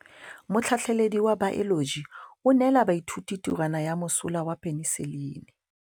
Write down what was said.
Motlhatlhaledi wa baeloji o neela baithuti tirwana ya mosola wa peniselene.